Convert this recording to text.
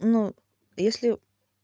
ну если